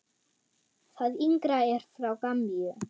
Það yngra er frá Gambíu.